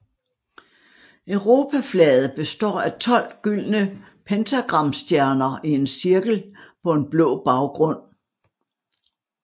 Europaflaget består af 12 gyldne pentagramstjerner i en cirkel på en blå baggrund